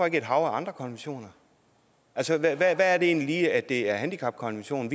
ikke et hav af andre konventioner altså hvad er det egentlig lige at det er handicapkonventionen